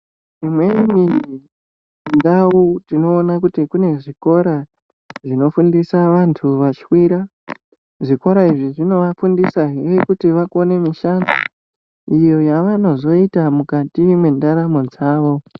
Dzimweni ndau tinoona kuti kune zvikora zvinofundisa vantu vashwira. Zvikora izvi zvinovafundisahe kuti vakone mishando iyo yavanozoita mukati mwendaramo dzavo.